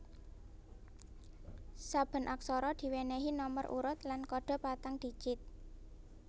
Saben aksara diwènèhi nomer urut lan kodhe patang digit